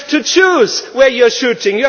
You have to choose where you are shooting.